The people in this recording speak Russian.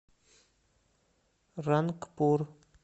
рангпур